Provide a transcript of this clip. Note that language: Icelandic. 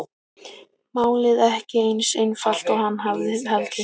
Málið ekki eins einfalt og hann hafði haldið.